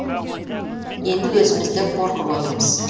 енді өзіміз де қорқып отырмыз